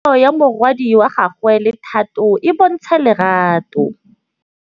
Bontle a re kamanô ya morwadi wa gagwe le Thato e bontsha lerato.